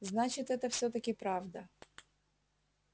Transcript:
значит это всё-таки правда